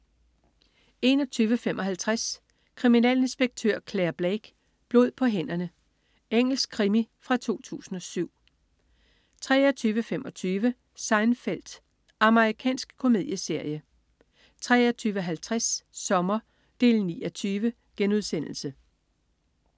21.55 Kriminalinspektør Clare Blake: Blod på hænderne. Engelsk krimi fra 2007 23.25 Seinfeld. Amerikansk komedieserie 23.50 Sommer 9:20*